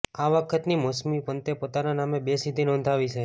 આ વખતની મોસમમાં પંતે પોતાને નામે બે સિદ્ધિ નોંધાવી છે